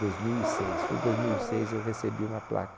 Dos mil e seis, foi dois mil e seis eu recebi uma placa